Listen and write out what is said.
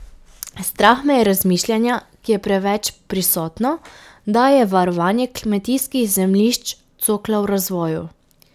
Strah me je razmišljanja, ki je preveč prisotno, da je varovanje kmetijskih zemljišč cokla v razvoju.